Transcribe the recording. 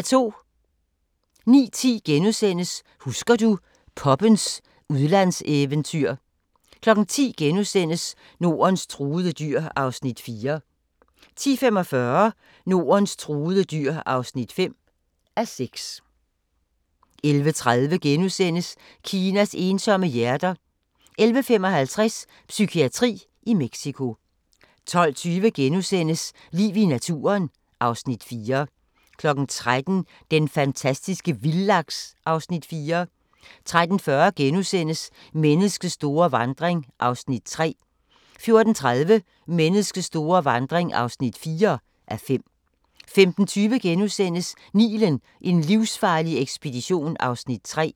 09:10: Husker du – poppens udlandseventyr * 10:00: Nordens truede dyr (4:6)* 10:45: Nordens truede dyr (5:6) 11:30: Kinas ensomme hjerter * 11:55: Psykiatri i Mexico 12:20: Liv i naturen (Afs. 4)* 13:00: Den fantastiske vildlaks (Afs. 4) 13:40: Menneskets store vandring (3:5)* 14:30: Menneskets store vandring (4:5) 15:20: Nilen: en livsfarlig ekspedition (3:4)*